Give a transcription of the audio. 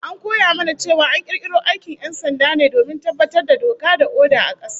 An koya mana cewa an kirkiro aikin 'yan sanda me domin tabbatar da doka da oda a kasa